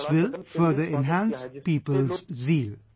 This will further enhance people's zeal